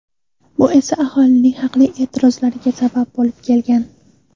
Bu esa aholining haqli e’tirozlariga sabab bo‘lib kelgan.